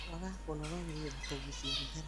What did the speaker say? kwaga kũnogora mwĩrĩ na kũgucia thigara